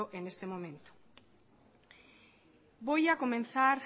en este momento voy a comenzar